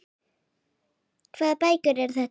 Hvaða bækur eru þetta?